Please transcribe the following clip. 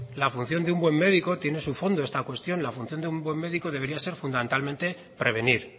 la función de un buen médico tiene en su fondo esta cuestión la función de un buen médico debería ser fundamentalmente prevenir